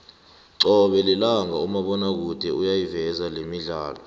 cobe lilanga umabonakude uyayiveza lemidlalo